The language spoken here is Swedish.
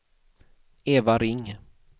Eva Ring